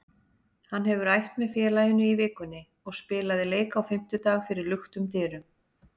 Hann hefur æft með félaginu í vikunni og spilaði leik á fimmtudag fyrir luktum dyrum.